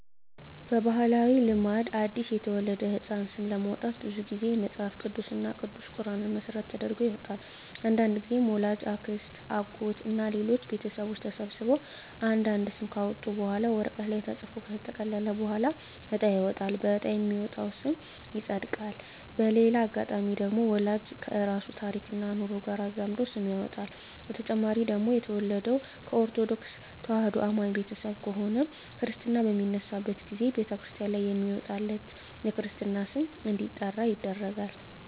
በባህላዊ ልማድ አዲስ ለተወለደ ህጻን ስም ለማውጣት ብዙ ግዜ መጸሀፍ ቅዱስ እና ቅዱስ ቁራንን መሰረት ተደርጎ ይወጣል። አንዳንድግዜም ወላጅ፣ አክስት፣ አጎት እና ሌሎች ቤተሰቦች ተሰብስበው አንድ አንድ ስም ካወጡ በኋላ ወረቀት ላይ ተጽፎ ከተጠቀለለ በኋላ እጣ ይወጣል በእጣ የወጣው ስም ይጸድቃል። በሌላ አጋጣሚ ደግሞ ወላጅ ከራሱ ታሪክና ኑሮ ጋር አዛምዶ ስም ያወጣል። በተጨማሪ ደግሞ የተወለደው ከኦርተዶክ ተዋህዶ አማኝ ቤተሰብ ከሆነ ክርስታ በሚነሳበት ግዜ በተክርስቲያን ላይ በሚወጣለት የክርስትና ስም እንዲጠራ ይደረጋል።